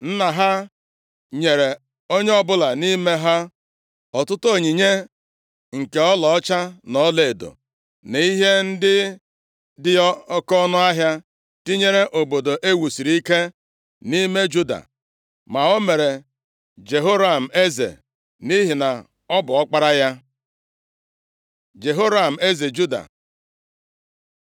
Nna ha nyere onye ọbụla nʼime ha ọtụtụ onyinye nke ọlaọcha, na ọlaedo, na ihe ndị dị oke ọnụahịa, tinyere obodo e wusiri ike nʼime Juda. Ma o mere Jehoram eze, nʼihi na ọ bu ọkpara ya. Jehoram eze Juda